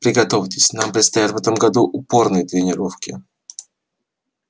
приготовьтесь нам предстоят в этом году упорные тренировки